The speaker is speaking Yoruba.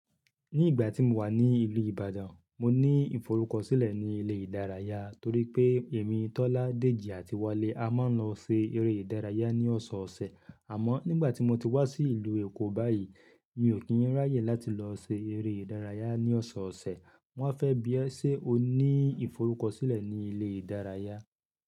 Ní ìgbà tí mó wà ní ìlú Ìbàdàn, mó ní ìforúkọ̀sílẹ̀ ní ilé ìdárayá torí pé èmi, Tọ́lá, Dèjì àti Wálé a máa ń lọ sé eré ìdárayá ní ọ̀sọ̀ọ̀sẹ̀. Àmọ́ nígbà tí mó ti wá sí ìlú Èkó báyìí, mi ò kí ń ráyè láti lọ se eré ìdárayá ní ọ̀sọ̀ọ̀sẹ̀. Wọ́n fẹ́ bí ẹ ṣe o ní ìforúkọ̀sílẹ̀ ní ilé ìdárayá.